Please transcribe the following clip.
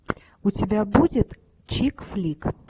у тебя будет чик флик